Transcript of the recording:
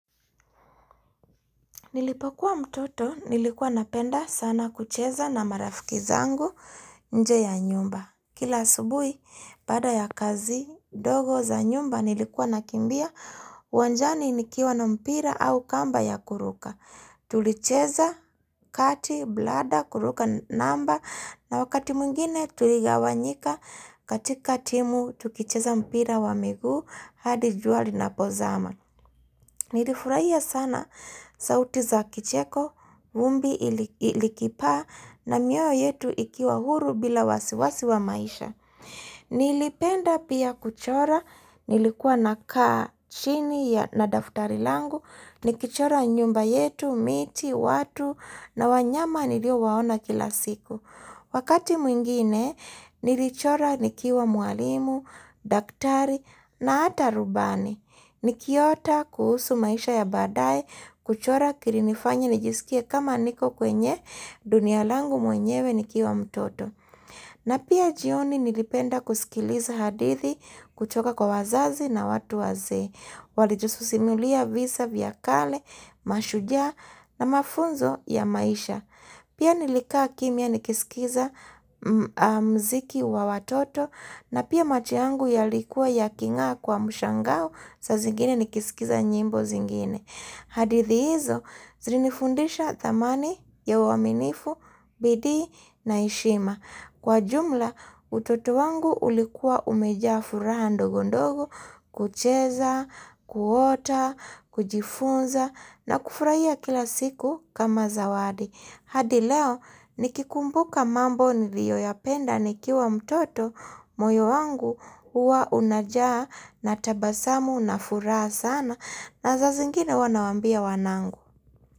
Nilipokuwa mtoto, nilikuwa napenda sana kucheza na marafiki zangu nje ya nyumba. Kila subui, pada ya kazi, dogo za nyumba, nilikuwa nakimbia wanjani nikiwa na mpira au kamba ya kuruka. Tulicheza kati, blada, kuruka namba, na wakati mungine tuliga wanyika, katika timu, tukicheza mpira wa migu, hadi juali na pozama. Nilifuraiya sana sauti za kicheko, vumbi ilikipa na mioyo yetu ikiwa huru bila wasiwasi wa maisha. Nilipenda pia kuchora, nilikuwa na kaa chini na daftari langu, nikichora nyumba yetu, miti, watu na wanyama nilio waona kila siku. Wakati mwingine, nilichora nikiwa mualimu, daktari na ata rubani. Nikiota kuhusu maisha ya badai, kuchora kirinifanya nijisikia kama niko kwenye dunia langu mwenyewe nikiwa mtoto. Na pia jioni nilipenda kusikiliza hadithi kuchoka kwa wazazi na watu wazee. Walijususimulia visa vyakale, mashujaa na mafunzo ya maisha. Pia nilikaa kimia nikisikiza mziki wa watoto na pia matiangu ya likuwa ya kinga kwa mshangau sa zingine nikisikiza nyimbo zingine. Hadithi hizo zilini fundisha dhamani ya waminifu, bidii na ishima. Kwa jumla utoto wangu ulikuwa umeja furaha ndogondogo, kucheza, kuota, kujifunza na kufurahia kila siku kama zawadi. Hadi leo nikikumbuka mambo niliyo ya penda nikiwa mtoto moyo wangu uwa unajaa na tabasamu na furaa sana na za zingine wanawambia wanangu.